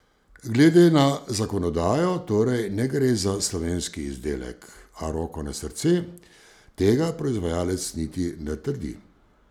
Glede na zakonodajo torej ne gre za slovenski izdelek, a roko na srce, tega proizvajalec niti ne trdi.